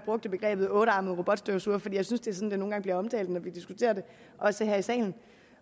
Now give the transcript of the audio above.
brugte begrebet ottearmet robotstøvsuger for det er sådan det nogle gange bliver omtalt når vi diskuterer det også her i salen